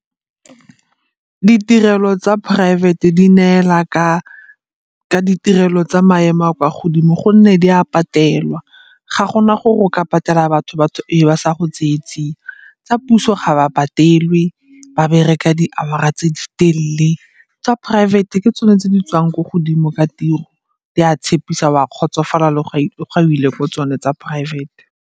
Ditirelo tsa poraefete di neela ka ditirelo tsa maemo a a kwa godimo gonne di a patelwa, ga gona gore o ka patela batho batho e be ba sa go tseye tsia. Tsa puso ga ba patelwe, ba bereka di-hour-ra tse di telele. Tsa poraefete ke tsone tse di tswang ko godimo ka tiro di a tshepisa, o a kgotsofala le ga o ile ko tsone tsa poraefete.